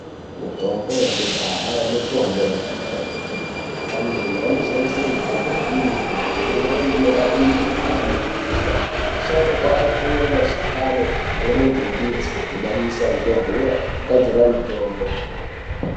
Mitombo yekudhaa mitombo yakanaka kwemene. Antu anoshandise mutombo iyi ngekuti imweni inorape mukuhlane yebesha. Asharuka aitore mashakani pamweni ngemidzi odhibanisa ngemvura ogadzira mutombo.